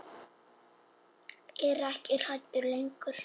Er ekki hrædd lengur.